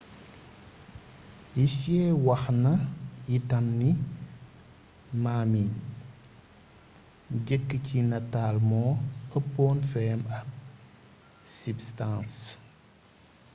hsieh wax na itam ni ma mi jekk ci nataal moo ëppoon feem ab sibstans